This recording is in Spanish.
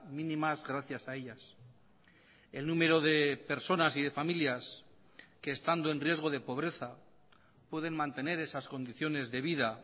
mínimas gracias a ellas el número de personas y de familias que estando en riesgo de pobreza pueden mantener esas condiciones de vida